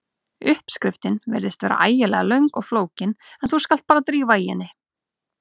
Uppskriftin virðist vera ægilega löng og flókin en þú skalt bara drífa í henni.